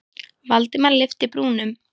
Valdimar lyfti brúnum.